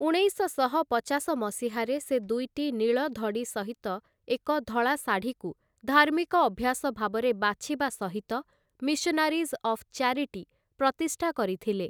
ଉଣେଇଶଶହ ପଚାଶ ମସିହାରେ, ସେ ଦୁଇଟି ନୀଳ ଧଡ଼ି ସହିତ ଏକ ଧଳା ଶାଢ଼ୀକୁ ଧାର୍ମିକ ଅଭ୍ୟାସ ଭାବରେ ବାଛିବା ସହିତ 'ମିଶନାରୀଜ୍ ଅଫ୍ ଚ୍ୟାରିଟି' ପ୍ରତିଷ୍ଠା କରିଥିଲେ ।